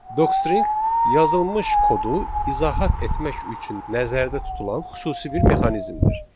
Docstring yazılmış kodu izahat etmək üçün nəzərdə tutulan xüsusi bir mexanizmdir.